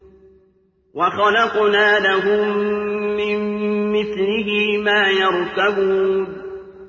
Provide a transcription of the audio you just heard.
وَخَلَقْنَا لَهُم مِّن مِّثْلِهِ مَا يَرْكَبُونَ